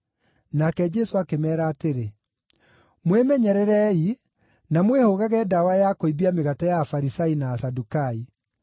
Nake Jesũ akĩmeera atĩrĩ, “Mwĩmenyererei, na mwĩhũgage ndawa ya kũimbia mĩgate ya Afarisai na Asadukai.”